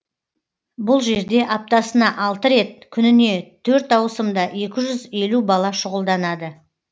бұл жерде аптасына алты рет күніне төрт ауысымда екі жүз елу бала шұғылданады